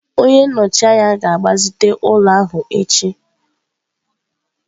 Onye nnọchi anya ga-agbazite ụlọ ahụ echi.